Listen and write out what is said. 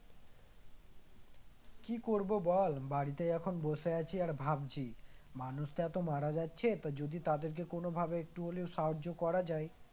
কি করব বল বাড়িতেই এখন বসে আছি আর ভাবছি মানুষ যে এত মারা যাচ্ছে তো যদি তাদেরকে কোনভাবে একটু হলেও সাহায্য করা যায়